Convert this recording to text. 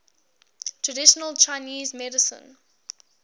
traditional chinese medicine